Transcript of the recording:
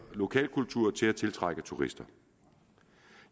lokalkultur til at tiltrække turister